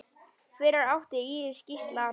Fyrir átti Íris Gísla Arnar.